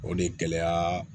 O de gɛlɛya